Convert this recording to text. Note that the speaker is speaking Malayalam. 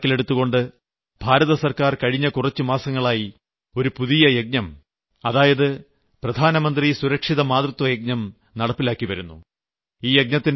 ഇക്കാര്യങ്ങൾ കണക്കിലെടുത്തുകൊണ്ടാണ് ഭാരതസർക്കാർ കഴിഞ്ഞ കുറച്ചുമാസങ്ങളായി ഒരു പുതിയ യജ്ഞം അതായത് പ്രധാനമന്ത്രി സുരക്ഷിത മാതൃത്വയജ്ഞം നടപ്പാക്കിവരുന്നത്